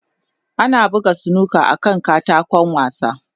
Ana buga snooker akan katako wasa.